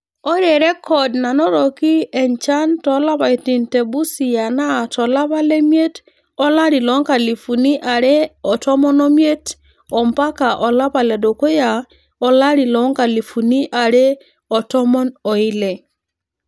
Ore rrekod nanotoki enchan toolapaitin the Busia naa tolapa lemiet olari loonkalifuni are otomon omiet ampaka olapa ledukuya olari loonkalifuni are otomon oile.